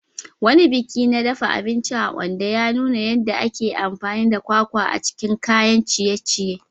Wani biki na dafa abinci a Ondo ya nuna yadda ake amfani da kwakwa a cikin kayan ciye-ciye.